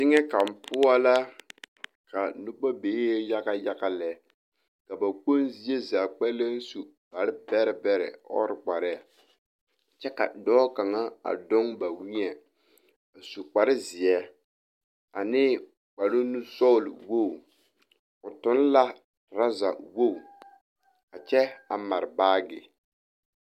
Teŋɛ kaŋ poɔ la ka noba bebe yaga yaga lɛ ka ba kpoŋ zie zaa kpɛlɛŋ su kpare bɛrɛbɛrɛ ɔɔre kparɛɛ kyɛ ka dɔɔ kaŋa a doŋ ba weɛ a su kparezeɛ ane kparenusɔglewogi o toŋ la turɔzɛ wogi a kyɛ a mare baage.